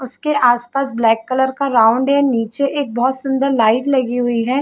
उसके आस पास ब्लैक कलर का राउंड है निचे एक बहुत सुंदर लाईट लगी हुई है।